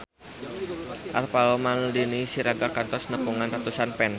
Alvaro Maldini Siregar kantos nepungan ratusan fans